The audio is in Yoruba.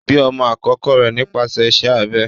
O bi ọmọ akọkọ rẹ nípasẹ iṣẹ abẹ